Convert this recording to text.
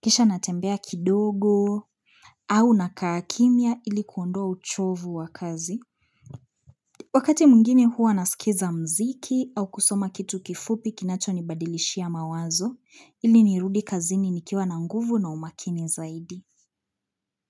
kisha natembea kidogo, au nakaa kimia ilikuondoa uchovu wa kazi. Wakati mgini huwa nasikiza mziki au kusoma kitu kifupi kinacho nibadilishia mawazo ili nirudi kazini nikiwa na nguvu na umakini zaidi.